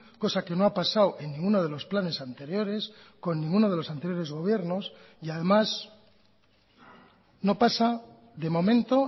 cosa que no ha pasado en ninguno de los planes anteriores con ninguno de los anteriores gobiernos y además no pasa de momento